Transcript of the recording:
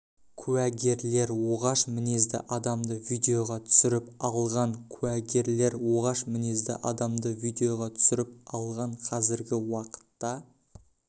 куәгерлер оғаш мінезді адамды видеоға түсіріп алған куәгерлер оғаш мінезді адамды видеоға түсіріп алған қазіргі уақытта